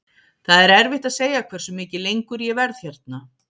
Það er erfitt að segja hversu mikið lengur ég verð hérna.